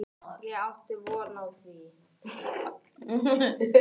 Ég átti von á því.